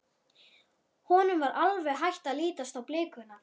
Honum var alveg hætt að lítast á blikuna.